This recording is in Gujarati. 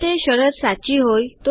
જો તે શરત સાચી હોય